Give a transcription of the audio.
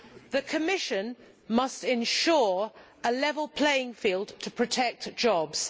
The Commission must ensure a level playing field to protect jobs.